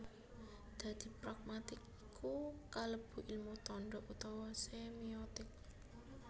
Dadi pragmatik iku kalebu ilmu tanda utawa semiotik